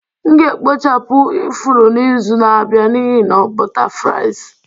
M ga-ekpochapụ ifuru n'izu na-abịa n'ihi na butterflies